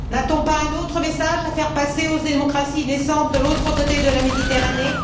N'a t on pas un autre message à faire passer aux démocraties naissantes de l'autre côté de la Méditerranée?